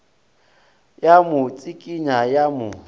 ya mo tsikinya ya mo